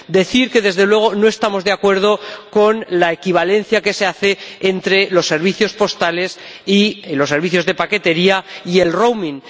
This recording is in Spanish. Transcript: Debo decir que, desde luego, no estamos de acuerdo con la equivalencia que se hace entre los servicios postales y los servicios de paquetería y el roaming